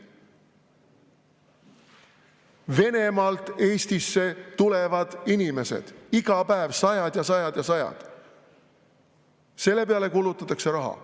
Venemaalt Eestisse tulevad inimesed, iga päev sajad ja sajad ja sajad – nende peale kulutatakse raha.